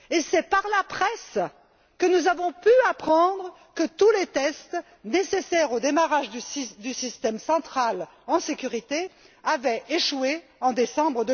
C'est par la presse que nous avons pu apprendre que tous les tests nécessaires au démarrage du système central en toute sécurité avaient échoué en décembre